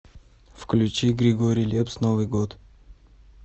включи григорий лепс новый год